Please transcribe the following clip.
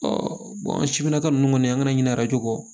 siminaka ninnu kɔni an kana ɲinɛ arajo kɔ